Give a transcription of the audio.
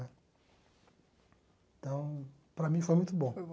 Então, para mim foi muito bom.